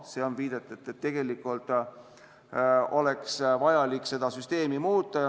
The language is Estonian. See on viide, et oleks vaja seda süsteemi muuta.